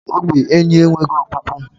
Ogwé ènyị́ enweghị ọkpụkpụ.